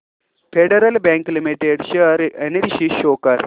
federal Bank Limited share analysis show कर